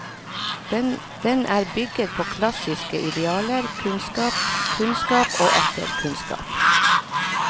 Den er bygget på klassiske idealer, kunnskap, kunnskap og atter kunnskap.